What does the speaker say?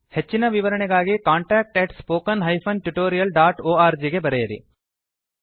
ಹೆಚ್ಚಿನ ವಿವರಣೆಗಾಗಿ contactspoken tutorialorg ಗೆ ಬರೆಯಿರಿ